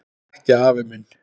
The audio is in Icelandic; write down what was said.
Ekki afi minn.